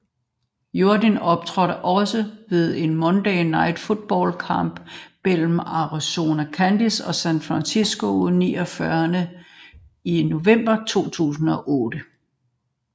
Jordin optrådte også ved en Monday Night Football kamp mellem Arizona Cardinals og San Francisco 49ers i november 2008